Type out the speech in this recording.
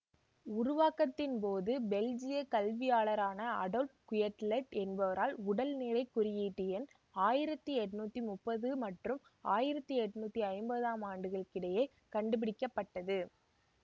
உருவாக்கத்தின்போது பெல்ஜிய கல்வியாளரான Adolphe Quetelet என்பவரால் உடல் நிறை குறியீட்டெண் ஆயிரத்தி எண்ணூற்றி முப்பது மற்றும் ஆயிரத்தி எண்ணூற்றி ஐம்பதாம் ஆண்டுகளுக்கிடையே கண்டுபிடிக்க பட்டது